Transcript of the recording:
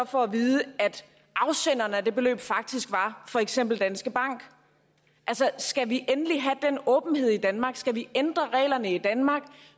får at vide at afsenderen af det beløb faktisk var for eksempel danske bank altså skal vi endelig have den åbenhed i danmark skal vi ændre reglerne i danmark